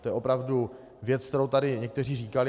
To je opravdu věc, kterou tady někteří říkali.